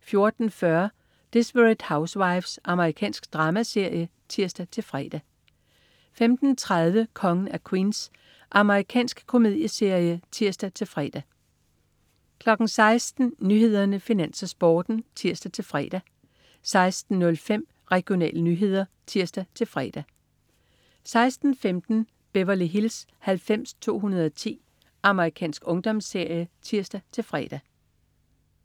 14.40 Desperate Housewives. Amerikansk dramaserie (tirs-fre) 15.30 Kongen af Queens. Amerikansk komedieserie (tirs-fre) 16.00 Nyhederne, Finans, Sporten (tirs-fre) 16.05 Regionale nyheder (tirs-fre) 16.15 Beverly Hills 90210. Amerikansk ungdomsserie (tirs-fre)